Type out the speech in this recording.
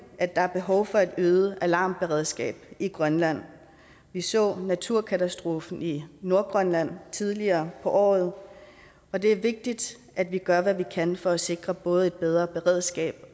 at der er behov for et øget alarmberedskab i grønland vi så en naturkatastrofe i nordgrønland tidligere på året og det er vigtigt at vi gør hvad vi kan for at sikre både et bedre beredskab